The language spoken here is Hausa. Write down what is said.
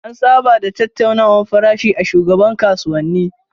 An saba da tattaunawar farashi a shagunan kasuwani.